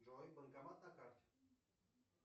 джой банкомат на карте